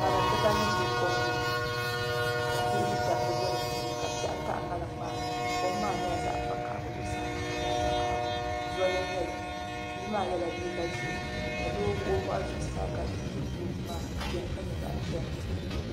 ŋariŋ dibaayi be kom ni ka bihi ni dabba be di puuni ka piɛɣu taɣi ŋariŋ maa ni kom maa nyɛla zaɣ' vakahili zuɣusaa maa gba zaɣ' vakahili zoli n-nyɛ li bia maa yɛla liiga ʒee ka doo wuɣi o bɔɣu zuɣusaa ka yingimbooti maa beni ka nyɛ zaɣ' piɛlli